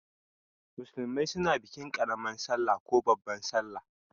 Musulmai suna bikin karaman sallah ko babban sallah.